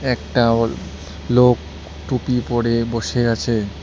একটা অল লোক টুপি পড়ে বসে আছে।